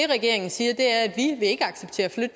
regeringen siger